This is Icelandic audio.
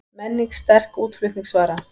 Menning sterk útflutningsvara